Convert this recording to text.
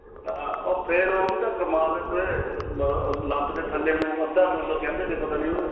ਹਾਂ ਫੇਰ ਉਹ ਵੀ ਤਾਂ ਮਾਰਦੇ ਥੇ ਆ ਲੱਤ ਦੇ ਥਲੇ ਨੂੰ ਅੱਧਾ ਟੂਲ ਕਹਿੰਦੇ ਥੇ ਪਤਾ ਨੀਂ ਉਹਨੂੰ